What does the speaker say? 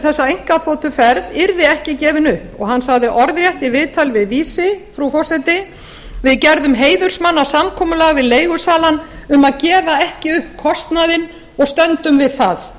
þessa einkaþotuferð yrði ekki gefinn upp hann sagði orðrétt í viðtali við vísi frú forseti við gerðum heiðursmannasamkomulag við leigusalann um að gefa ekki upp kostnaðinn og stöndum við það